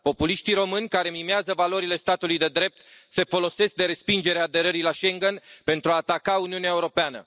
Populiștii români, care mimează valorile statului de drept, se folosesc de respingerea aderării la Schengen pentru a ataca Uniunea Europeană.